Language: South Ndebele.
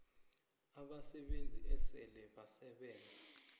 abasebenzi esele basebenze